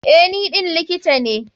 Eh, ni ɗin likita ne.